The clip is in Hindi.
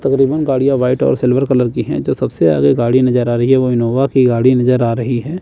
तकरीबन गाड़ियां व्हाइट और सिल्वर कलर की हैं जो सबसे आगे गाड़ी नजर आ रही है वह इनोवा की गाड़ी नजर आ रही हैं।